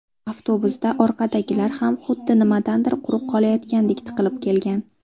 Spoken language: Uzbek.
Avtobusda orqadagilar ham xuddi nimadandir quruq qolayotgandek tiqilib kelgan.